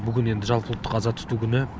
бүгін енді жалпыұлттық аза тұту күні